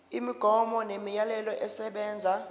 imigomo nemiyalelo esebenza